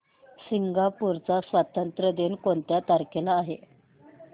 Singapore चा स्वातंत्र्य दिन कोणत्या तारखेला आहे